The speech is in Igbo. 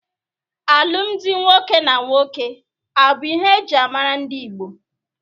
Alụmdi nwoke na nwoke abụ ihe eji mara ndị Igbo?